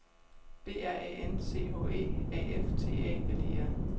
B R A N C H E A F T A L E R